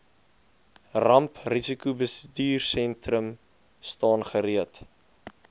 ramprisikobestuursentrum staan gereed